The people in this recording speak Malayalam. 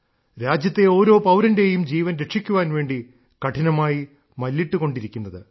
രാജ്യത്തെ ഓരോ പൌരന്റെയും ജീവൻ രക്ഷിക്കാൻ വേണ്ടി കഠിനമായി മല്ലിട്ടുകൊണ്ടിരിക്കുന്നത്